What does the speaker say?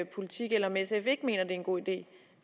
politik eller om sf ikke mener at en god idé